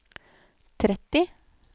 tretti